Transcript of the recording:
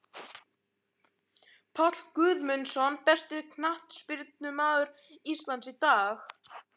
Páll Guðmundsson Besti knattspyrnumaður Íslands í dag?